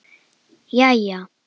LÁRUS: Jæja!